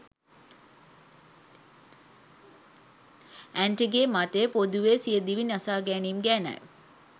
Aunty ගේ මතය පොදුවේ සිය දිවිනසා ගැනීම් ගැනයි.